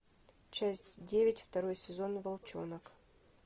часть девять второй сезон волчонок